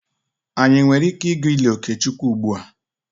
Anyị nwere ike ịga ili Okechukwu ugbua?